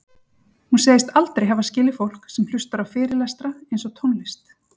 Hún segist aldrei hafa skilið fólk sem hlustar á fyrirlestra eins og tónlist